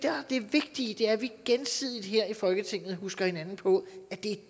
er det vigtige er at vi gensidigt her i folketinget husker hinanden på at det er